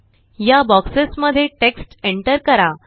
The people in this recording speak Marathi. या बोक्सेस मध्ये टेक्स्ट एंटर करा